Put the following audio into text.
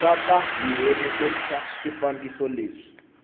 nga ta tirhiseriwa swifambo leswi